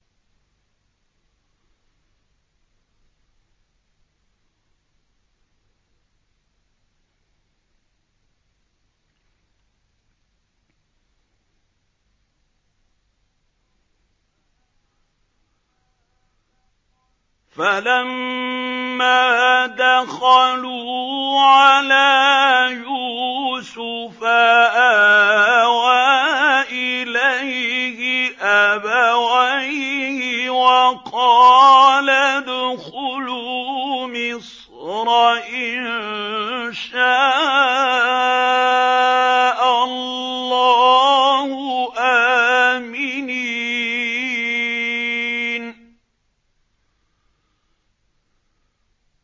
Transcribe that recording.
فَلَمَّا دَخَلُوا عَلَىٰ يُوسُفَ آوَىٰ إِلَيْهِ أَبَوَيْهِ وَقَالَ ادْخُلُوا مِصْرَ إِن شَاءَ اللَّهُ آمِنِينَ